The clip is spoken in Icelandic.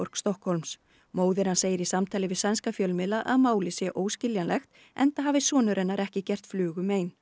Stokkhólms móðir hans segir í samtali við sænska fjölmiðla að málið sé óskiljanlegt enda hafi sonur hennar ekki gert flugu mein